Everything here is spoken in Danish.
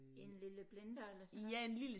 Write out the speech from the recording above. En lille blender eller sådan noget